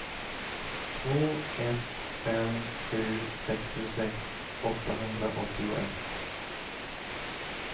två ett fem sju sextiosex åttahundraåttioett